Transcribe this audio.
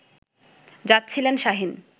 যাচ্ছিলেন শাহীন